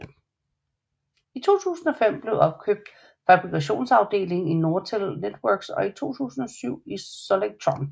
I 2005 blev opkøbt fabrikationsafdelingen i Nortel networks og i 2007 i Solectron